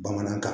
Bamanankan